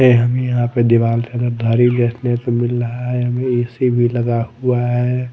ये हमें यहां पे दीवाल तरफदारी देखने को मिल रहा है हमें ए_सी भी लगा हुआ है।